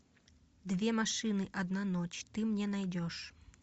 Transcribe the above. две машины одна ночь ты мне найдешь